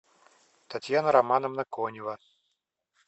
татьяна романовна конева